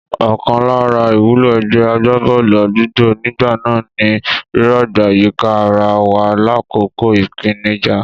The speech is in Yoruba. Ọ̀kan lára ìwúlò ẹgbẹ́ agbábọ́ọ̀lù àdúgbò nígbà náà ni rírọ̀gbà yíka ara wa lákòókò ìpèníjà.